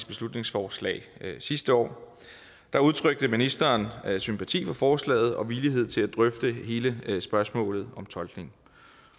beslutningsforslag sidste år udtrykte ministeren sympati for forslaget og villighed til at drøfte hele spørgsmålet om tolkning